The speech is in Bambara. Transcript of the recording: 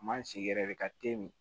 Man sigi yɛrɛ de ka te min